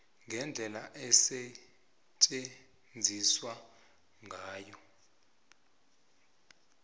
ngendlela osetjenziswe ngayo